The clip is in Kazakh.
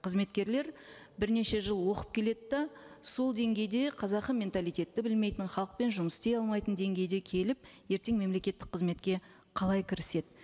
қызметкерлер бірнеше жыл оқып келеді де сол деңгейде қазақы менталитетті білмейтін халықпен жұмыс істей алмайтын деңгейде келіп ертең мемлекеттік қызметке қалай кіріседі